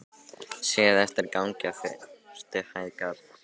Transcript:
Séð eftir gangi á fyrstu hæð Garðs.